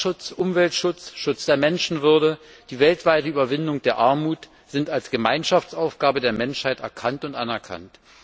Klimaschutz, Umweltschutz, Schutz der Menschenwürde, die weltweite Überwindung der Armut sind als Gemeinschaftsaufgabe der Menschheit erkannt und anerkannt.